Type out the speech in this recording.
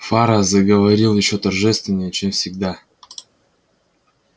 фара заговорил ещё торжественнее чем всегда